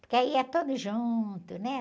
Porque aí é todos juntos, né?